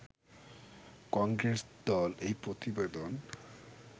কংগ্রেস দল এই প্রতিবেদন